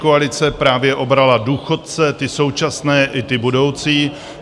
Pětikoalice právě obrala důchodce, ty současné i ty budoucí.